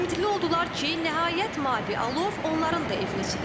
Ümidli oldular ki, nəhayət mavi alov onların da evini isidəcək.